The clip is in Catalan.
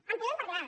en podem parlar